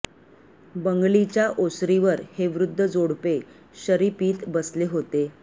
बंगलीच्या ओसरीवर हे वृध्द जोडपे शरी पीत बसले होते